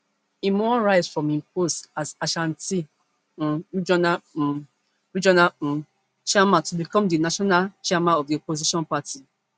im wan rise from im post as ashanti um regional um regional um chairman to become di national chairman of di opposition party